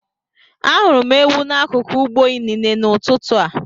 Ahụrụ m ewu n'akụkụ ugbo inine n'ụtụtụ a.